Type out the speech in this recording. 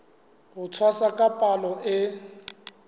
ho tshwasa ka palo e